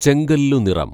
ചെങ്കല്ലു നിറം